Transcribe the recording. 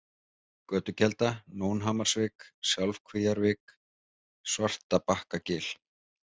Götukelda, Nónhamarsvik, Sjálfkvíavik, Svartabakkagil